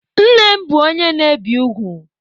Nne m bụ onye na-ebi ugwu.